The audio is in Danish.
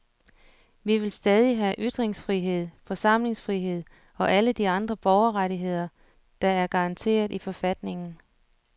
Vi vil stadig have ytringsfrihed, forsamlingsfrihed og alle de andre borgerrettigheder, der er garanteret i forfatningen.